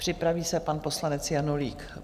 Připraví se pan poslanec Janulík.